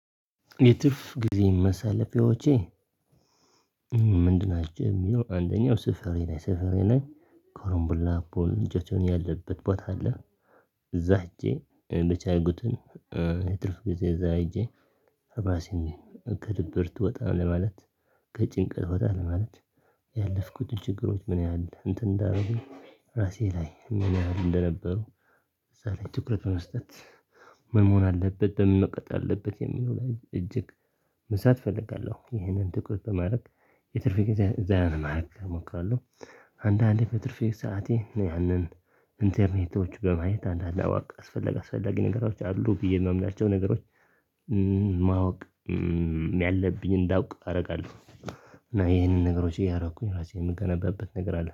የትርፍ ጊዜ ማሳለፊያዎች? ምንድን ናቸው ሚለው አንደኛው ስፍሬ ላይ ስፍሬ ላይ ኮሮምብል ፑል ልጆቹን ያለበት ቦታ አለ። እዛ ሂጄ እንደቻይጉትን። የትርፍ ጊዜ እዛ ሄጄ። ራሴን ከድብርት ወጣ ለማለት ከጭንቀት ወጣ ለማለት ያለፍኩትን ችግሮች ምን ያህል እንትን እንዳደረጉኝ ራሴ ላይ ምን ያህል እንደነበሩ። ትኩረት በመስጠት ምን መሆን አለበት ለምን መቀጥ አለበት የሚለው ላይ እጅግ መስራት እፈልጋለሁ። ይህንን ትኩረት በማድረግ የትርፍ ጊዜ ዘና ለማድረግ እሞክራለሁ። አንዳንዴ በትርፌ ሰዓቴ ነው ያንን ኢንተርኔቶች በማየት አንዳንድ አዋቅ አስፈለግ አስፈላጊ ነገሮች አሉ ብዬ ማምናቸው ነገሮች። ማወቅ ያለብኝ እንዳውቅ አደርጋለሁ። እና ይሄንን ነገሮች እያደረኩኝ ራሴ የምገነባበት ነገር አለ